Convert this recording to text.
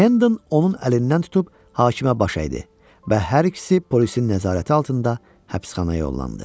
Hədan onun əlindən tutub hakimə baş əydi və hər ikisi polisin nəzarəti altında həbsxanaya yollandı.